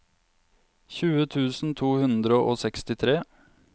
tjue tusen to hundre og sekstitre